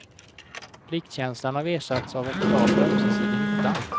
Pliktkänslan har ersatts av ett krav på ömsesidig nytta.